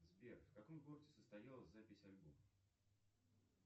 сбер в каком городе состоялась запись альбома